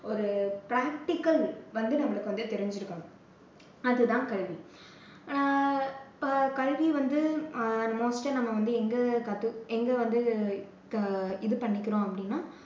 ஒரு practical வந்து நம்பளுக்கு வந்து தெரிஞ்சுருக்கணும். அதுதான் கல்வி. ஆஹ் இப்போ கல்வி வந்து most ஆ வந்து எங்க கத்துக்க~ எங்க வந்து அஹ் இது பண்ணிக்கிறோம் அப்படின்னா